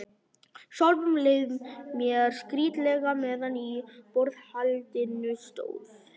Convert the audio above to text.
Sjálfum leið mér skrýtilega meðan á borðhaldinu stóð.